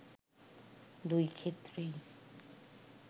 দুই ক্ষেত্রেই